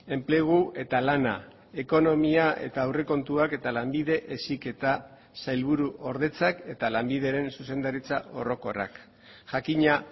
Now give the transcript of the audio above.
enplegu eta lana ekonomia eta aurrekontuak eta lanbide heziketa sailburuordetzak eta lanbideren zuzendaritza orokorrak jakina